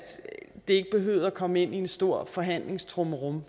det ikke behøvede at komme ind i en stor forhandlingstrummerum